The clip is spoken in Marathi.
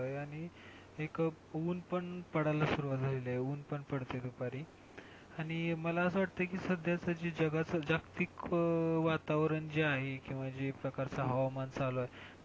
आणि एक ऊन पण पडायला सुरुवात झालीये आणि ऊन पण पडतंय दुपारी, आणि मला असं वाटतंय की साध्याच जगाच जागतिक वातारण जे आहे किंवा जे सकाळचं हवामान चालू आहे,